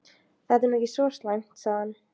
Þetta er nú ekki svo slæmt sagði hann.